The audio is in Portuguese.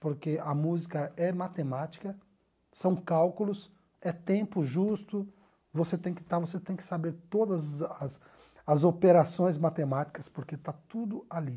porque a música é matemática, são cálculos, é tempo justo, você tem que estar você tem que saber todas as as operações matemáticas, porque está tudo ali.